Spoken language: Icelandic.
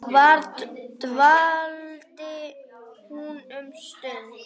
Þar dvaldi hún um stund.